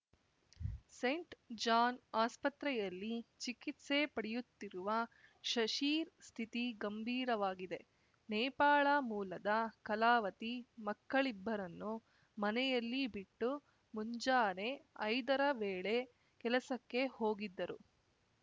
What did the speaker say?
scent John ಆಸ್ಪತ್ರೆಯಲ್ಲಿ ಚಿಕಿತ್ಸೆ ಪಡೆಯುತ್ತಿರುವ ಶಶೀರ್ ಸ್ಥಿತಿ ಗಂಭೀರವಾಗಿದೆ ನೇಪಾಳ ಮೂಲದ ಕಲಾವತಿ ಮಕ್ಕಳಿಬ್ಬರನ್ನು ಮನೆಯಲ್ಲಿ ಬಿಟ್ಟು ಮುಂಜಾನೆ ಐದರ ವೇಳೆ ಕೆಲಸಕ್ಕೆ ಹೋಗಿದ್ದರು